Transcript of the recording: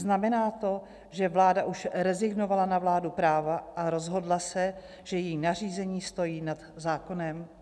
Znamená to, že vláda už rezignovala na vládu práva a rozhodla se, že její nařízení stojí nad zákonem?